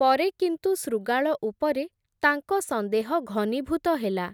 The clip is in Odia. ପରେ, କିନ୍ତୁ ଶୃଗାଳ ଉପରେ, ତାଙ୍କ ସନ୍ଦେହ ଘନୀଭୂତ ହେଲା ।